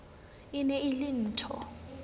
e ne e le nthho